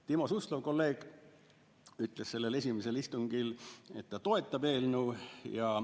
Timo Suslov, kolleeg, ütles esimesel istungil, et ta toetab eelnõu.